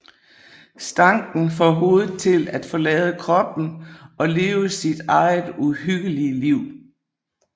Stanken får hovedet til at forlade kroppen og leve sit eget uhyggelige liv